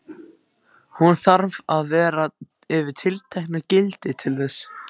Hún þarf að vera yfir tilteknu gildi til þess.